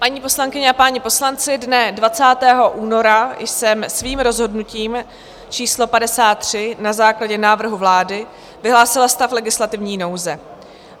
Paní poslankyně a páni poslanci, dne 20. února jsem svým rozhodnutím číslo 53 na základě návrhu vlády vyhlásila stav legislativní nouze.